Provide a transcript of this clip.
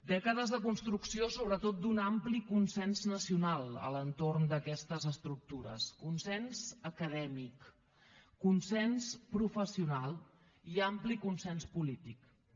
dècades de construcció sobretot d’un ampli consens nacional a l’entorn d’aquestes estructures consens acadèmic consens professional i ampli consens polític també